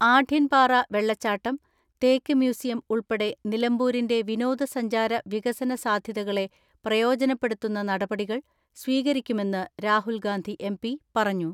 ആഢ്യൻപാറ വെള്ളച്ചാട്ടം, തേക്ക് മ്യൂസിയം ഉൾപ്പെടെ നിലമ്പൂരിന്റെ വിനോദസഞ്ചാര വികസന സാധ്യതകളെ പ്രയോജനപ്പെടുത്തുന്ന നടപടികൾ സ്വീകരിക്കുമെന്ന് രാഹുൽ ഗാന്ധി എം.പി പറഞ്ഞു.